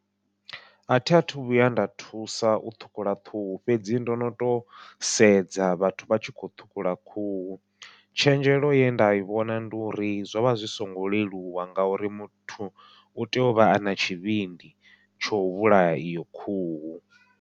Athi athu vhuya nda thusa u ṱhukhula khuhu, fhedzi ndo no to sedza vhathu vha tshi kho ṱhukhula khuhu, tshenzhelo ye nda i vhona ndi uri zwo vha zwi songo leluwa ngauri muthu u tea u vha ana tshivhindi tsho vhulaya iyo khuhu.